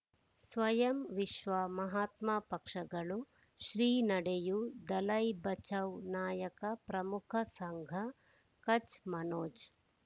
ಸ್ವಯಂ ವಿಶ್ವ ಮಹಾತ್ಮ ಪಕ್ಷಗಳು ಶ್ರೀ ನಡೆಯೂ ದಲೈ ಬಚೌ ನಾಯಕ ಪ್ರಮುಖ ಸಂಘ ಕಚ್ ಮನೋಜ್